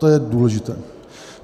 To je důležité.